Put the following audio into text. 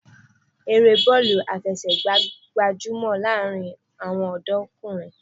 Eré bọ́ọ̀lù àfẹsẹ̀gbá gbajúmọ̀ láàárín àwọn ọ̀dọ́kùnrin